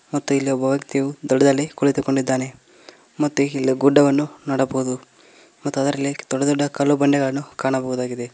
ಮತ್ತು ಇಲ್ಲಿ ಒಬ್ಬ ವ್ಯಕ್ತಿಯು ದಡದಲ್ಲಿ ಕುಳಿತುಕೊಂಡಿದ್ದಾನೆ ಮತ್ತು ಇಲ್ಲಿ ಗುಡ್ಡವನ್ನು ನೋಡಬಹುದು ಮತ್ತು ಅದರಲ್ಲಿ ದೊಡ್ದ ದೊಡ್ಡ ಕಲ್ಲು ಬಂಡೆಗಳನ್ನು ಕಾಣಬಹುದಾಗಿದೆ.